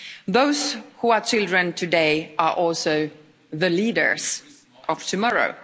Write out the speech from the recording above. Those who are children today are also the leaders of tomorrow.